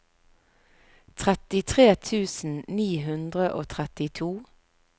trettitre tusen ni hundre og trettito